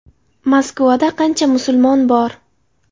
Moskvada qancha musulmon bor?